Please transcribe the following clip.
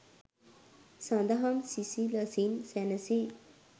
සදහම් සිසිලසින් සැනසී